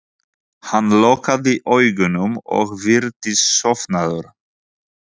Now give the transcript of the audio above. Hann lokaði augunum og virtist sofnaður.